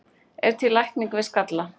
er til lækning við skalla